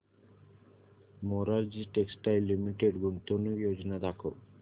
Morarji textiles limited गुंतवणूक योजना दाखव